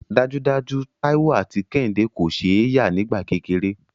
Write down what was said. Dájúdájú, Táíwò àti Kẹ́hìndé kò ṣe é yà nígbà kékeré